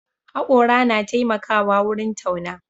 Haƙora na taimakawa wurin tauna.